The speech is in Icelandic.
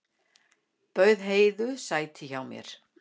Bauð Heiðu sæti hjá mér.